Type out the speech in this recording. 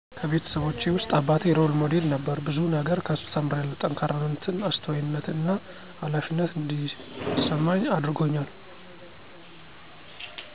ከቤተሰቦቸውስጥ አባቴ ሮል ሞዴል ነበር ብዙ ነገር ከሱ ተምሪያለው ጠካራነትን አስተዋይነትን እና ሀላፊነት እዲስመኝ አድርጎኛል